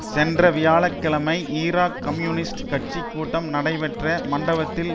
சென்ற வியாழ கிழமை ஈராக் கம்யூனிஸ்ட் கட்சி கூட்டம் நடைபெற்ற மண்டபத்தில்